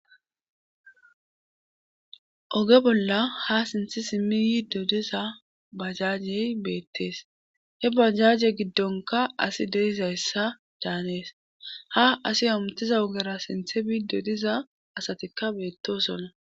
oge bolla ha sinthi simmi yi dodiza bajajey beettees he bajaje giddonka asi deizayssa daanees ha asi amutiza wogara sinthe bi dodiza asatikka beettoosonna